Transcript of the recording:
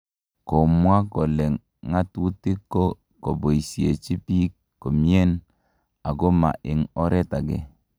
Komwa kole ng'atutik ko koboisiechi biik komyen ako ma en oret age